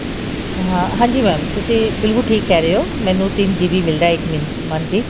ah ਹਾਂਜੀ mam ਤੁਸੀਂ ਬਿਲਕੁਲ ਠੀਕ ਕਿਹ ਰਹੇ ਹੋ ਮੈਨੂੰ ਤਿੰਨ GB